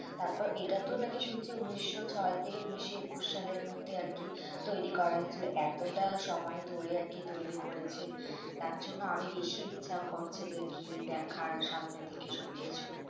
তারপর এটাতো নাকি শুনছি উনিশশো ছয় থেকে উনিশশো একুশ সালের মধ্যে আরকি তৈরি করা হয়েছিল এতোটা সময় ধরে আরকি তৈরি করেছে তার জন্য আরো বেশি ইচ্ছা করছে যে গিয়ে দেখার সামনে থেকে সবকিছু